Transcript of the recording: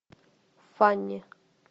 фанни